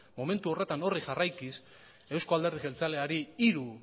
momentu honetan horri jarraikiz eusko alderdi jeltzaleari hiru